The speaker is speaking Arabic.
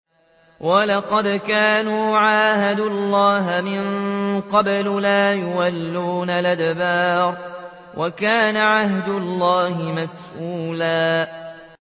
وَلَقَدْ كَانُوا عَاهَدُوا اللَّهَ مِن قَبْلُ لَا يُوَلُّونَ الْأَدْبَارَ ۚ وَكَانَ عَهْدُ اللَّهِ مَسْئُولًا